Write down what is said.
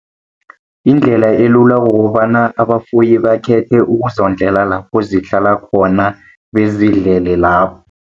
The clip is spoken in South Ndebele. Indlela elula kukobana abafuyi bakhethe ukuzondlela lapho zihlala khona bezidlele lapho.